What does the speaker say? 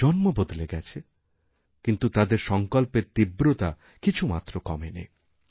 প্রজন্ম বদলে গেছে কিন্তু তাদের সংকল্পের তীব্রতা কিছুমাত্রকমেনি